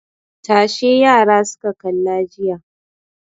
Tashe yara suka kalla jiya.